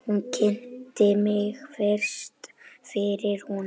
Hún kynnti mig fyrir honum.